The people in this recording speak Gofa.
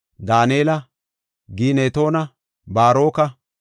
Daanela, Ginetoona, Baaroka,